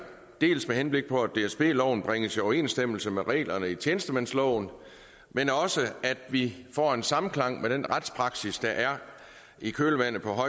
med henblik på at dsb loven bringes i overensstemmelse med reglerne i tjenestemandsloven men også at vi får en samklang med den retspraksis der er i kølvandet på